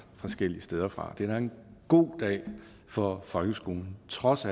forskellige steder fra det er en god dag for folkeskolen trods